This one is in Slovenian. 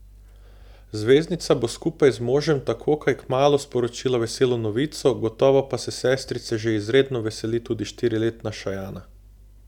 Zvezdnica bo skupaj z možem tako kaj kmalu sporočila veselo novico, gotovo pa se sestrice že izredno veseli tudi štiriletna Šajana.